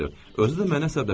Özü də məni əsəbləşdirdi.